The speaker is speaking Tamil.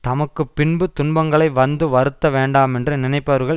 தமக்கு பின்பு துன்பங்களை வந்து வருத்த வேண்டாமென்று நினைப்பவர்கள்